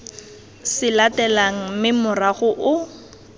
se latelang mme morago o